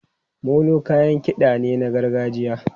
Molo kayan kiɗa ne na gargajiya.